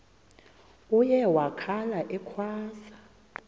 uye wakhala ekhwaza